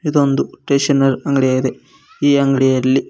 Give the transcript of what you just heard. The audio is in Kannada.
ಇದೊಂದು ಸ್ಟೇಷನರ್ ಅಂಗಡಿಯಾಗಿದೆ ಈ ಅಂಗಡಿಯಲ್ಲಿ--